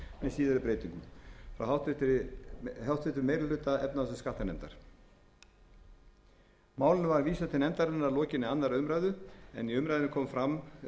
átta um virðisaukaskatt með síðari breytingum málinu var vísað til nefndarinnar að lokinni annarri umræðu í umræðunni kom fram vilji til þess að